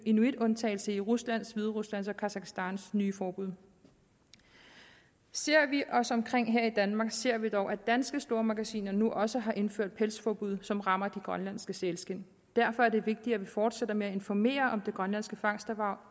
inuitundtagelse i ruslands hvideruslands og kazakhstans nye forbud ser vi os omkring her i danmark ser vi dog at danske stormagasiner nu også har indført pelsforbud som rammer de grønlandske sælskind derfor er det vigtigt at vi fortsætter med at informere om det grønlandske fangsterhverv